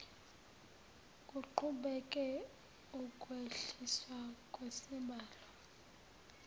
kuqhubeke ukwehliswa kwesibalo